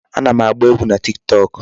Ana m agba egwu na Tiktok.